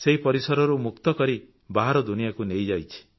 ସେହି ପରିସରରୁ ମୁକ୍ତ କରି ବାହାର ଦୁନିଆକୁ ନେଇଯିବ